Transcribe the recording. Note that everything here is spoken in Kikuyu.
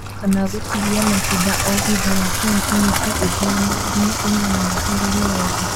Kana gũtigia matunda o thutha wa santimetero ithano nginya inyanya harĩ rũhonge